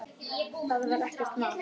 Það var ekkert mál.